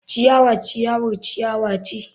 Ciyawa ciyawar ciyawa ce.